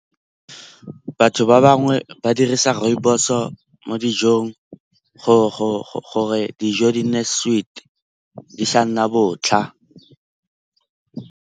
Batho ba bangwe ba dirisa rooibos-o mo dijong gore dijo di nne sweet di sa nna botlha.